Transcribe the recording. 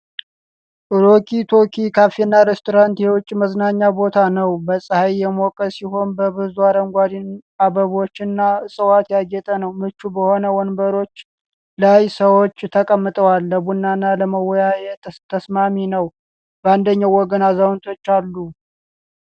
ሮኪ ቶኪ ካፌና ሬስቶራንት የውጪ መዝናኛ ቦታ ነው። በፀሐይ የሞቀ ሲሆን፣ በብዙ አረንጓዴ አበባዎችና እፅዋት ያጌጠ ነው። ምቹ በሆኑ ወንበሮች ላይ ሰዎች ተቀምጠዋል። ለቡናና ለመወያያነት ተስማሚ ነው። በአንደኛው ወገን አዛውንቶች አሉ።